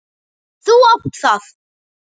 Þú átt það!